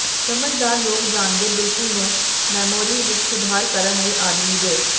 ਸਮਝਦਾਰ ਲੋਕ ਜਾਣਦੇ ਬਿਲਕੁਲ ਨੂੰ ਮੈਮੋਰੀ ਵਿੱਚ ਸੁਧਾਰ ਕਰਨ ਲਈ ਆਦਮੀ ਦੇ